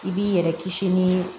I b'i yɛrɛ kisi ni